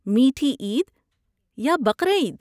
میٹھی عید یا بقر عید؟